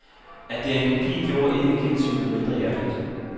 At det er en kopi, gjorde ikke gensynet mindre hjerteligt.